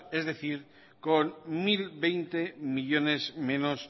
es decir con mil veinte millónes menos